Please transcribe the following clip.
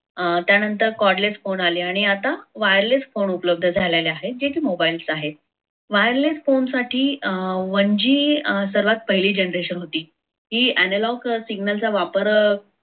अं त्यानंतर codless phone आले, आणि आता wireless phone उपलब्ध झालेले आहे. जे की mobile आहे. wireless phone साठी one g सर्वात पहिली generation होती ती analog signal वापर